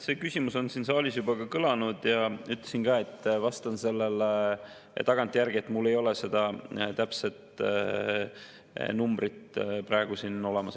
See küsimus on siin saalis juba kõlanud ja ütlesin ka, et vastan sellele tagantjärgi, mul ei ole seda täpset numbrit praegu siin olemas.